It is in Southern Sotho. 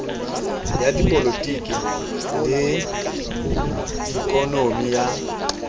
ya dipolotiki le ikonomi ya